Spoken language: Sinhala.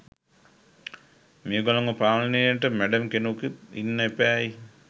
මෙගොල්ලන්ව පාලනයට මැඩම් කෙනෙකුත් ඉන්න එපැයි.